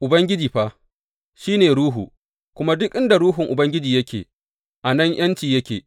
Ubangiji fa, shi ne Ruhu, kuma duk inda Ruhun Ubangiji yake, a nan ’yanci yake.